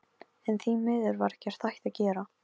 En því miður var ekkert hægt að gera.